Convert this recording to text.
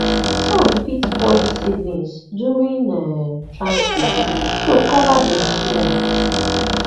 sun fit spoil seedlings during um transplant so cover dem small